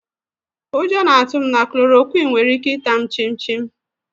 Ụjọ na-atụ m na klòròkwịn nwere ike ità m chím chim